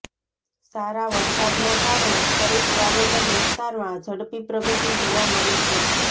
સારા વરસાદના કારણે ખરીફ વાવેતર વિસ્તારમાં ઝડપી પ્રગતિ જોવા મળી છે